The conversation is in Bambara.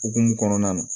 Okumu kɔnɔna na